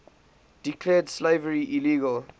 declared slavery illegal